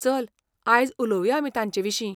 चल, आयज उलोवया आमी तांचेविशीं.